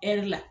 Ɛri la